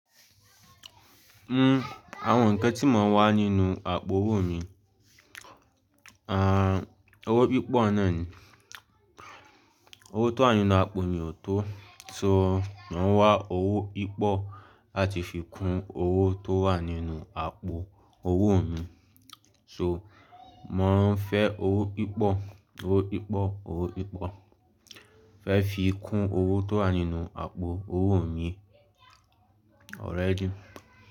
Àwon nnkan tí máa n wà nínú àpò owó mi, owó pípọ̀ náà ni, owó tó wà nínú àpò mi ò tó, so màá wá owó pípọ̀ láti fi kún owó tó wà nínú àpò owó mi, so mò ń fẹ́ owó pípọ̀, owó pípọ̀, owó pípọ̀, fẹ́ fi kún owó tó wà nínú àpò owó mi already.